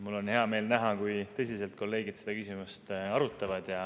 Mul on hea meel näha, kui tõsiselt kolleegid seda küsimust arutavad.